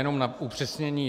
Jenom na upřesnění.